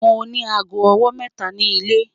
Mo ni àágọ́ ọwọ́ mẹ́ta ni ilẹ̀